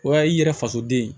O y'a ye i yɛrɛ faso den